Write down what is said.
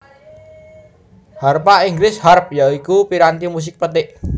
Harpa Inggris Harp ya iku piranti musik petik